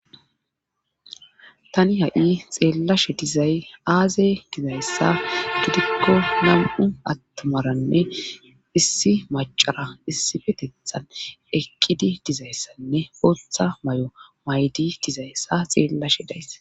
Tani ha7i xeellashe dizay aaze dizayssa dudikko nam7u attomaranne issi macara issifetethan ekkidi dizayssanne potha may7o maydi dizayssa xeellashe dayss.